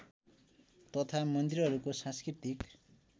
तथा मन्दिरहरूको सांस्कृतिक